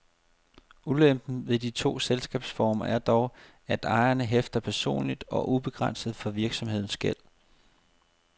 Ulempen ved de to selskabsformer er dog, at ejeren hæfter personligt og ubegrænset for virksomhedens gæld.